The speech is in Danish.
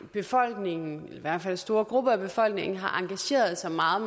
befolkningen i hvert fald store grupper af befolkningen har engageret sig meget